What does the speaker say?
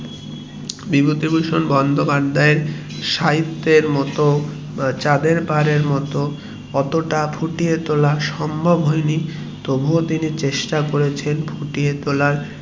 বিভূতিভূষণ বন্দোপাধ্যায় এর সাহিত্যের মতো চাঁদের পাহাড় এর মতো অতটা ফুটিয়ে তোলা সম্ভব হয়নি তবুও তিনি চেষ্টা করেছেন ফুটিয়ে তোলার